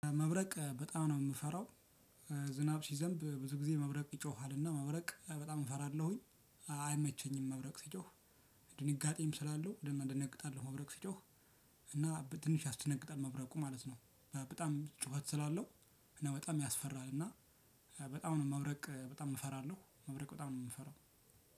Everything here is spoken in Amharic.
መብረቅ በጣም ነው የምፈራው። ዝናብ ሲዘንብ ብዙ ጊዜ መብረቅ ይጮሃልና መብረቅ በጣም እፈራለሁኝ። አይመቸኝም መብረቅ ሲጮህ ድንጋጤም ስላለው ደነ እደነግጣለሁ መብረቅ ሲጮህ። እና በ ትንሽ ያስደነግጣል መብረቁ ማለት ነው። በጣም ጩኸት ስላለው እና በጣም ያስፈራል እና። በጣም ነው መብረቅ በጣም እፈራለሁ መብረቅ በጣም ነው የምፈራው።